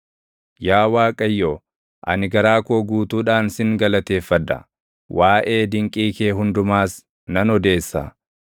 Yaa Waaqayyo, ani garaa koo guutuudhaan sin galateeffadha; waaʼee dinqii kee hundumaas nan odeessa.